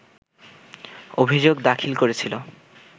অভিযোগ দাখিল করেছিল